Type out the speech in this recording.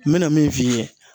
N mɛna min f'i yɛ